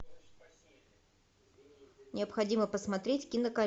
необходимо посмотреть кинокомедию